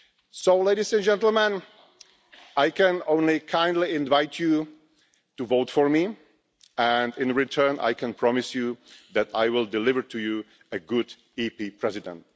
So, Ladies and Gentlemen, I can only kindly invite you to vote for me and, in return, I can promise you that I will deliver you a good European Parliament President.